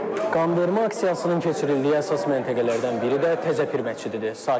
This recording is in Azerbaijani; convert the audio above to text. Qanvermə aksiyasının keçirildiyi əsas məntəqələrdən biri də Təzəpir məscididir.